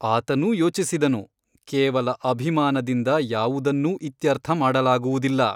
ಆತನೂ ಯೋಚಿಸಿದನು ಕೇವಲ ಅಭಿಮಾನದಿಂದ ಯಾವುದನ್ನೂ ಇತ್ಯರ್ಥ ಮಾಡಲಾಗುವುದಿಲ್ಲ.